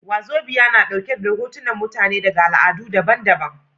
Wazobia na ɗauke da hotunan mutane daga al'adu daban daban